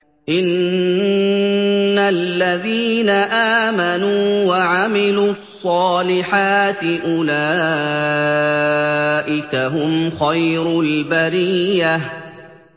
إِنَّ الَّذِينَ آمَنُوا وَعَمِلُوا الصَّالِحَاتِ أُولَٰئِكَ هُمْ خَيْرُ الْبَرِيَّةِ